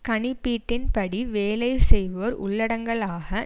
கணிப்பீட்டின் படி வேலை செய்வோர் உள்ளடங்கலாக